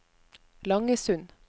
Langesund